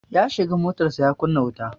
Ya shiga motarsa ​​ya kunna wuta.